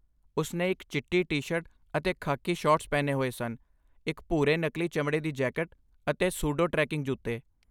ਉਸ ਨੇ ਇੱਕ ਚਿੱਟੀ ਟੀ ਸ਼ਰਟ ਅਤੇ ਖਾਕੀ ਸ਼ਾਰਟਸ ਪਹਿਨੇ ਹੋਏ ਸਨ, ਇੱਕ ਭੂਰੇ, ਨਕਲੀ ਚਮੜੇ ਦੀ ਜੈਕਟ ਅਤੇ ਸੂਡੇ ਟ੍ਰੈਕੀੰਗ ਜੁੱਤੇ